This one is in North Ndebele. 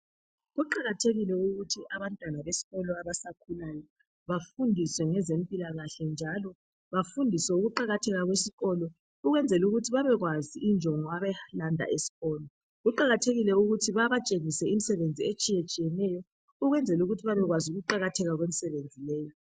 Kuqakathekile ukuthi abantwana besikolo abasakhulayo bafundiswe ngezempilakahle njalo bafundiswe ukuqakatheka kwesikolo ukwenzela ukuthi babekwazi injongo abayilanda eskolo. Kuqakathekile ukuthi babatshengise imisebenzi etshiyetshiyeneyo ukwenzela ukuthi babekwazi ukuqakatheka kwemisebenzi leyo.